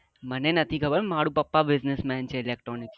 મને નથી ખબર મારા પપ્પા business man છે electronics માં